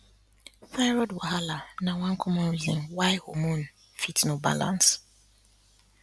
thyroid wahala na one common reason why hormone fit no balance